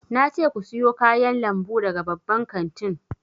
Na ce ku siyo kayan lambu daga babban kantin!